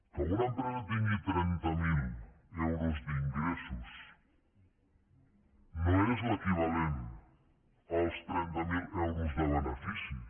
que una empresa tingui trenta mil euros d’ingressos no és l’equivalent als trenta mil euros de beneficis